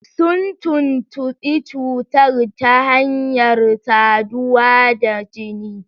Sun tuntubi cutar ta hanyar saduwa da jini.